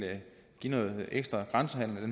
give noget ekstra grænsehandel det